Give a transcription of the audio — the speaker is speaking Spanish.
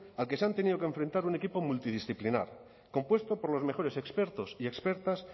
al que se han tenido que enfrentar un equipo multidisciplinar compuesto por los mejores expertos y expertas